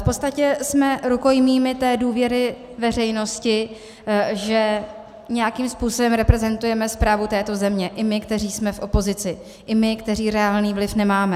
V podstatě jsme rukojmími té důvěry veřejnosti, že nějakým způsobem reprezentujeme správu této země i my, kteří jsme v opozici, i my, kteří reálný vliv nemáme.